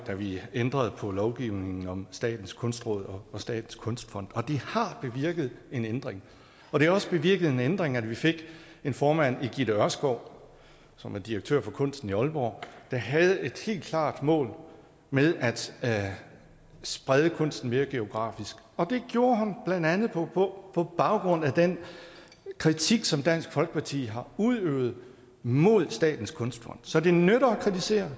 da vi ændrede på lovgivningen om statens kunstråd og statens kunstfond og det har bevirket en ændring og det har også bevirket en ændring at vi fik en formand i gitte ørskov som er direktør for kunsten i aalborg der havde et helt klart mål med at sprede kunsten mere geografisk og det gjorde hun blandt andet på på baggrund af den kritik som dansk folkeparti har udøvet mod statens kunstfond så det nytter at kritisere